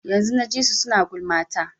Yanzun na ji su suna gulma ta.